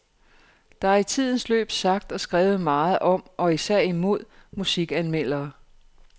Der er i tidens løb sagt og skrevet meget om og især imod musikanmeldere.